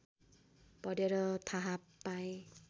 पढेर थाह पाएँ